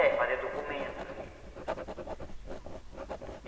É, fazer documentos.